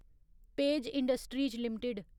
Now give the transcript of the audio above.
page Industries limited